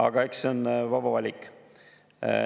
Aga eks see on vaba valik.